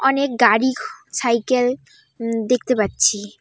অনেক গাড়ি ছাইকেল উম দেখতে পাচ্ছি।